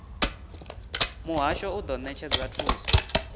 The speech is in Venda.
muhasho u do netshedza thuso